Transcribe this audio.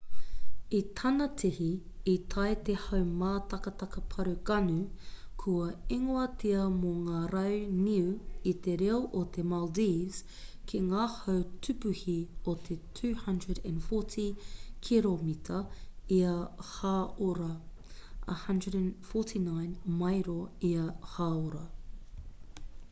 i tana tihi i tae te haumātakataka pārū gonu kua ingoatia mō ngā rau niu i te reo o te maldives ki ngā hau tūpuhi o te 240 kiromita ia hāora 149 mairo ia hāora